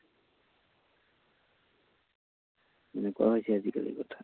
এনেকুৱা হৈছে আজিকালি কথা।